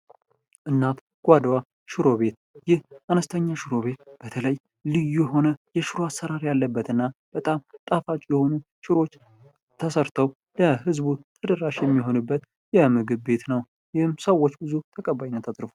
እናት ጓዳ ሽሮ ቤት ይህ አነስተኛ ሽሮ ቤት በተለይ ልዩ አሰራር ያለበትና በጣም ጠፋቂ የሆኑ ሽሮ ተሠርተው ለህዝቡ ተደራሽበት የሚሆንበት ምግብ ቤት ነው ።ይህም ሰዎች ብዙ ተቀባይነት አግኝተዋል!